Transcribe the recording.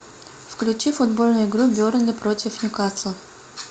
включи футбольную игру бернли против ньюкасла